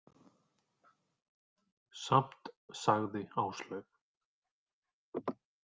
Samt, sagði Áslaug.